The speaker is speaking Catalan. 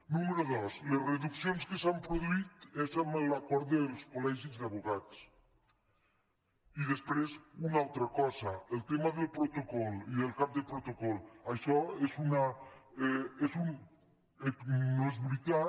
número dos les reduccions que s’han produït són en l’acord dels coli després una altra cosa el tema del protocol i del cap de protocol això no és veritat